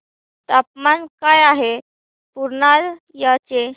तापमान काय आहे पूर्णिया चे